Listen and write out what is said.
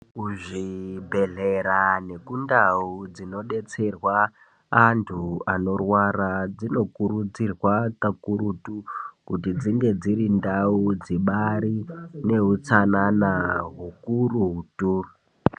Kuzvibhedhlera nekundau dzinodetserwa anthu anorwara dzinokurudzirwa kakurutu kuti dzinge dziri ndau dzibaari neutsanana hukurutu.